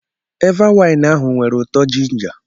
Eva wain ahụ nwere ụtọ jinja.